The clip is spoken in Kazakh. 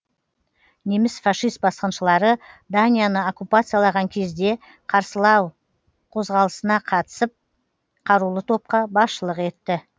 неміс фашист басқыншылары данияны окуппациялаған кезде қарсылау қозғалысына қатысып қарулы топқа басшылық етті